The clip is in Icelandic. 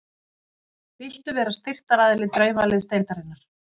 Viltu vera styrktaraðili Draumaliðsdeildarinnar?